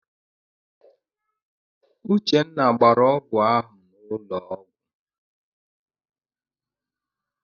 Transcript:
Uchenna gbara ọgwụ ahụ n'ụlọ ọgwụ.